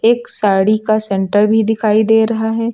एक साड़ी का सेंटर भी दिखाई दे रहा है।